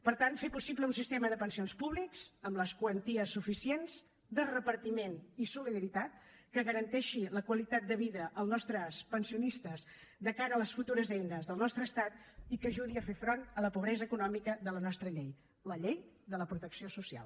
per tant fer possible un sistema de pensions públiques amb les quanties suficients de repartiment i solidaritat que garanteixi la qualitat de vida als nostres pensionistes de cara a les futures eines del nostre estat i que ajudi a fer front a la pobresa econòmica amb la nostra llei la llei de la protecció social